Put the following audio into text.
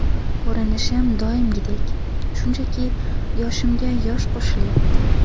Ko‘rinishim doimgidek, shunchaki yoshimga yosh qo‘shilyapti.